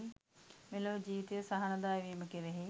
මෙලොව ජීවිතය සහනදායි වීම කෙරෙහි